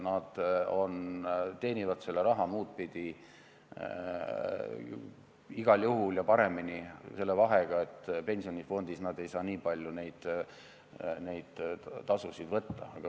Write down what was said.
Nad teenivad selle raha muul moel igal juhul ja pareminigi, pensionifondis nad ei saa kuigi palju tasusid võtta.